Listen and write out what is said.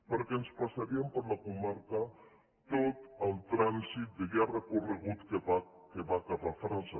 perquè ens passaria per la comarca tot el trànsit de llarg recorregut que va cap a frança